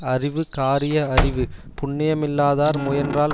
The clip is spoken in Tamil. அறிவு காரிய அறிவு புண்ணியமில்லாதார் முயன்றால்